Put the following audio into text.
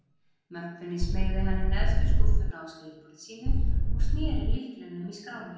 Möppunni smeygði hann í neðstu skúffuna í skrifborði sínu, og sneri lyklinum í skránni.